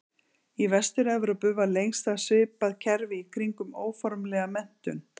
Í Vestur-Evrópu var lengst af svipað kerfi í kringum óformlega menntun.